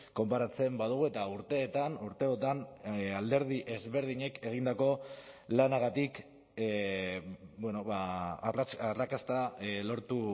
konparatzen badugu eta urteetan urteotan alderdi ezberdinek egindako lanagatik arrakasta lortu